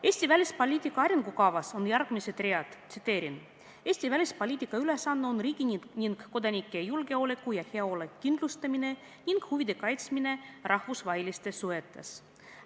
Eesti välispoliitika arengukavas on järgmised read: "Eesti välispoliitika ülesanne on riigi ning kodanike julgeoleku ja heaolu kindlustamine ning huvide kaitsmine rahvusvahelistes suhetes.